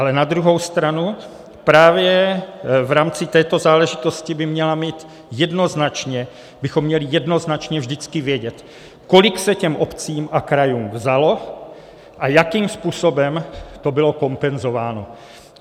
Ale na druhou stranu právě v rámci této záležitosti bychom měli jednoznačně vždycky vědět, kolik se těm obcím a krajům vzalo a jakým způsobem to bylo kompenzováno.